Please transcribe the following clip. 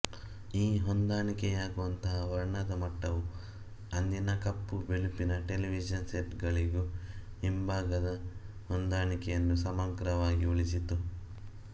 ಈ ಹೊಂದಾಣಿಕೆಯಾಗುವಂತಹ ವರ್ಣದ ಮಟ್ಟವು ಅಂದಿನ ಕಪ್ಪುಬಿಳುಪಿನ ಟೆಲಿವಿಷನ್ ಸೆಟ್ ಗಳಿಗೂ ಹಿಂಭಾಗದ ಹೊಂದಾಣಿಕೆಯನ್ನು ಸಮಗ್ರವಾಗಿ ಉಳಿಸಿತು